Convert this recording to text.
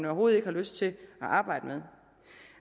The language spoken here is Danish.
overhovedet ikke har lyst til at arbejde med